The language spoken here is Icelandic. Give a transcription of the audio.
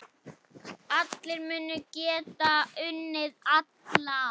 Allir munu geta unnið alla.